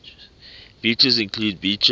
features include beaches